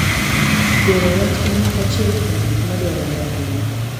Goro wach en achiel kuom gik ma dwarore ahinya .